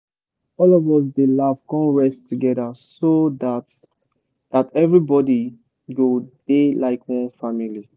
all of us dey laugh con rest together so that that everybody go dey like one family.